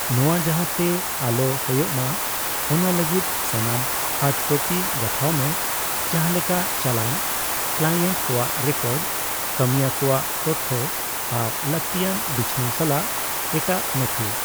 ᱱᱚᱣᱟ ᱡᱟᱦᱟᱸᱛᱮ ᱟᱞᱚ ᱦᱳᱭᱳᱜᱼᱢᱟ ᱚᱱᱟ ᱞᱟᱹᱜᱤᱫ ᱥᱟᱱᱟᱢ ᱦᱟᱨᱰ ᱠᱚᱯᱤ ᱜᱟᱛᱷᱟᱣ ᱢᱮ, ᱡᱟᱦᱟᱸ ᱞᱮᱠᱟ ᱪᱟᱞᱟᱱ, ᱠᱞᱟᱭᱮᱱᱴ ᱠᱚᱣᱟᱜ ᱨᱮᱠᱚᱨᱰ, ᱠᱟᱹᱢᱤᱭᱟᱹ ᱠᱚᱣᱟᱜ ᱛᱚᱛᱛᱷᱚ ᱟᱨ ᱞᱟᱠᱛᱤᱭᱟᱱ ᱵᱤᱪᱷᱱᱟᱹᱣ ᱥᱟᱞᱟᱜ ᱮᱴᱟᱜ ᱱᱚᱛᱷᱤ ᱾